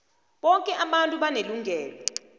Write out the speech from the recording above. boke abantu banelungelo